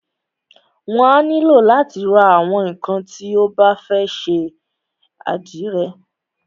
Wà á nílò látí ra àwọn ńnkan tí o bá fẹ́ ṣe àdìrẹ.